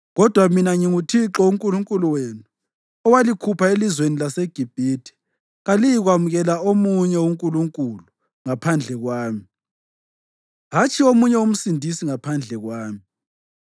“Kodwa mina nginguThixo uNkulunkulu wenu, owalikhupha elizweni laseGibhithe. Kaliyikwamukela omunye uNkulunkulu ngaphandle kwami, hatshi omunye uMsindisi ngaphandle kwami.